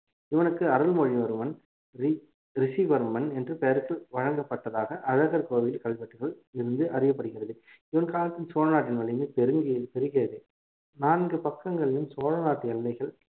இவனுக்கு அருள்மொழிவர்மன் ரி~ ரிஷிவர்மன் என்று பெயர்கள் வழங்கப்பட்டதாக அழகர் கோவில் கல்வெட்டுகள் இருந்து அறியப்படுகிறது இவன் காலத்தில் சோழ நாட்டின் வலிமை பெருங்கி~ பெருகியது நான்கு பக்கங்களிலும் சோழ நாட்டு எல்லைகள்